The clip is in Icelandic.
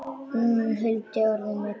Hún huldi örið með trefli.